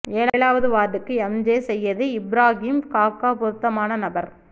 ஏலாவது வார்டுக்கு M J Syed Ibrahim காக்கா பெருத்தமான நபர்